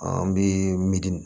An bɛ midi